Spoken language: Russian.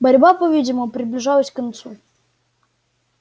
борьба по видимому приближалась к концу